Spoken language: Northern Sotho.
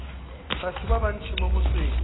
batho ba bantši mo motseng